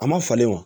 A ma falen wa